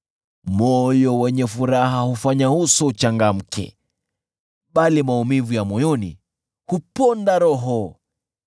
Moyo wenye furaha hufanya uso uchangamke, bali maumivu ya moyoni huponda roho.